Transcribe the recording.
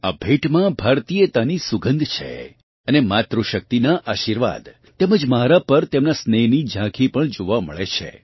આ ભેટમાં ભારતીયતાની સુગંધ છે અને માતૃશક્તિનાં આશિર્વાદ તેમજ મારાં પર તેમનાં સ્નેહની ઝાંખી પણ જોવાં મળે છે